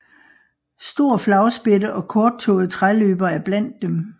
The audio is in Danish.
Stor flagspætte og korttået træløber er blandt dem